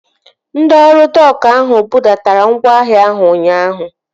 Ndị ọrụ dok ahụ budatara ngwaahịa ahụ ụnyaahụ